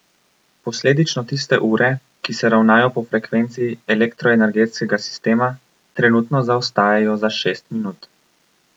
Posledično tiste ure, ki se ravnajo po frekvenci elektroenergetskega sistema, trenutno zaostajajo za šest minut.